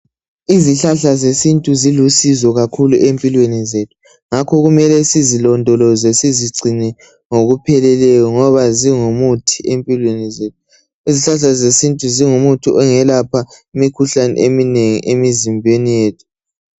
Izihlahla zesintu zilisizo kakhulu empilweni zethu ngakho kumele sizilondoloze sizigcine ngokupheleleyo ngoba zingumuthi empilweni zethu. Izihlahla zesintu zingumuthi ongelapha imikhuhlane eminengi emizimbeni yethu